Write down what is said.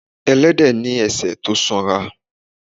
Ẹlẹ́dẹ̀ ni ẹsẹ̀ tó sanra.